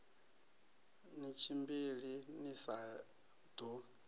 ni tshimbili ni sa ḓo